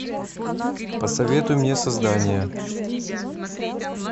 посоветуй мне создание